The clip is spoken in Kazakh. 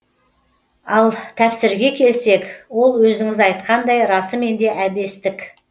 ал тәпсірге келсек ол өзіңіз айтқандай расымен де әбестік